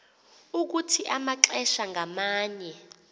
ukuthi amaxesha ngamanye